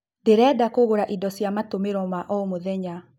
Ndĩrenda kũgũra ĩndo cia matũmĩro ma o mũthenya